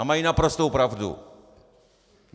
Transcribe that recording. A mají naprostou pravdu.